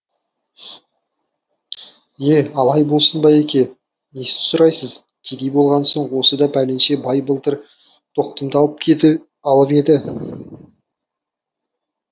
е алай болсын байеке несін сұрайсыз кедей болған соң осыда пәленше бай былтыр бір тоқтымды алып еді